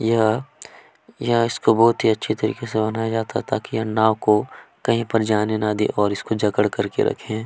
यहाँ यहाँ इसको बोहोत ही अच्छे तरीके से मनाया जाता है ताकि ये नाव को कही जाने न दे और इसको जकड करके रखे --